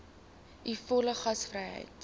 u volle gasvryheid